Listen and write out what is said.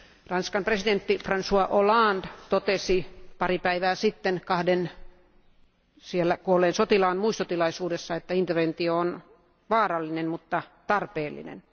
Ranskan presidentti Francois Hollande totesi pari päivää sitten kahden siellä kuolleen sotilaan muistotilaisuudessa, että interventio on vaarallinen mutta tarpeellinen.